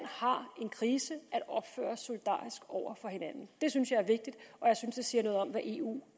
har en krise at opføre os solidarisk over for hinanden det synes jeg er vigtigt og jeg synes det siger noget om hvad eu